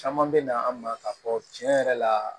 Caman bɛ na an ma k'a fɔ tiɲɛ yɛrɛ la